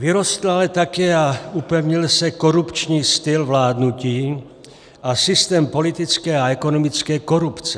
Vyrostl ale také a upevnil se korupční styl vládnutí a systém politické a ekonomické korupce.